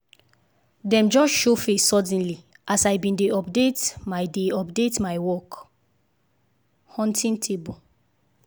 dem just show face suddenly as i been dey update my dey update my work-hunting table